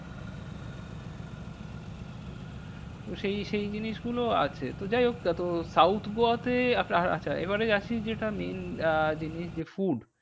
তো সেই সেই জিনিসগুলো আছে। তো যাইহোক তা তো south গোয়াতে আচ্ছা এবারে আসি যেটা আহ জিনিস যে food